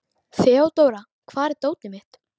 Þeódóra, hvar er dótið mitt?